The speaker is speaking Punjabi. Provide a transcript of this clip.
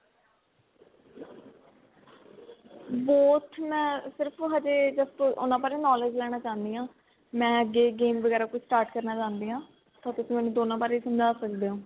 both ਮੈਂ ਸਿਰਫ ਹਜੇ just ਉਹਨਾ ਬਾਰੇ knowledge ਲੈਣਾ ਚਾਹੁੰਦੀ ਹਾਂ ਮੈਂ ਅੱਗੇ game ਵਗੈਰਾ ਕੁੱਝ start ਕਰਨਾ ਚਾਹੁੰਦੀ ਆ ਤਾਂ ਤੁਸੀਂ ਮੈਨੂੰ ਦੋਨਾ ਬਾਰੇ ਸਮਜਾ ਸਕਦੇ ਓ